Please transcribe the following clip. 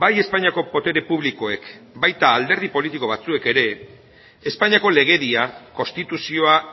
bai espainiako botere publikoek baita alderdi politiko batzuek ere espainiako legedia konstituzioa